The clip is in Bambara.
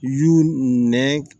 Y y'u nɛn